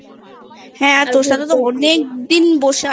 হ্যাঁ তোর সাথে তো অনেক দিন বসে